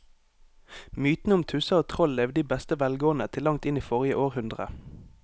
Mytene om tusser og troll levde i beste velgående til langt inn i forrige århundre.